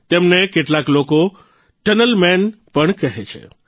તેમને કેટલાક લોકો ટનલ મેન પણ કહે છે